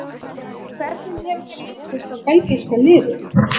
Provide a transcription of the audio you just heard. Hvernig hefur þér litist á belgíska liðið?